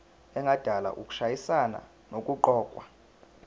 engadala ukushayisana nokuqokwa